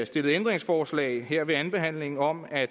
stillet ændringsforslag her ved andenbehandlingen om at